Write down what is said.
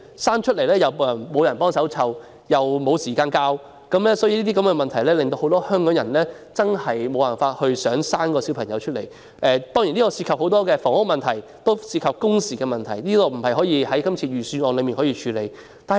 誕下小孩後，沒有人幫忙照顧又沒有時間教育，這些問題令很多香港人不願意生育。當中涉及房屋問題，也涉及工時問題，並不是這份預算案能夠處理得到的。